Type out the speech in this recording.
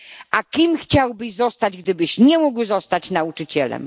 A kim chciałbyś zostać gdybyś nie mógł zostać nauczycielem?